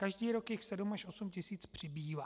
Každý rok jich 7 až 8 tisíc přibývá.